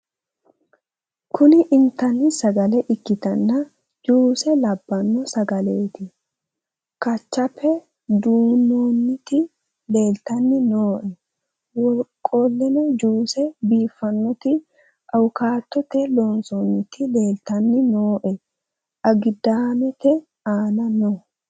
kuni intanni sagale ikkitanna juuse labbanno sagaleeti kachape dunnoonniti leltanni nooe wo qole juuse biiffannoti awukaatote loonsoonniti leeltanni nooee agidaamete aana no